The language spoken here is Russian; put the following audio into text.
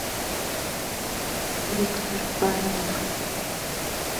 виктор баринов